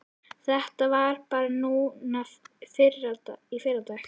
Þetta var bara núna í fyrradag.